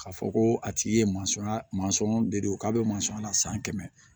K'a fɔ ko a tigi ye de don k'a bɛ mansɔn na san kɛmɛ